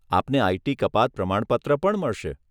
આપને આઈટી કપાત પ્રમાણપત્ર પણ મળશે.